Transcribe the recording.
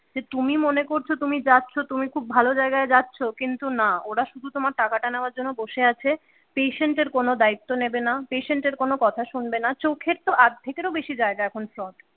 যে তুমি মনে করছো তুমি যাচ্ছ তুমি খুব ভালো জায়গায় যাচ্ছ কিন্তু না ওরা শুধু টাকাটা নেওয়ার জন্য বসে আছে patient এর কোনো দায়িত্ব নেবে না, patient এর কোনো কথা শুনবে না, চোখের তো আর্ধেকেরও বেশি জায়গা এখন ফ্রড।